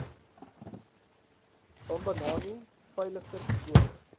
bambanani veiliger skole